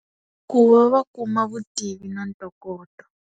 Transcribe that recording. Ku va va kuma vutivi na ntokoto.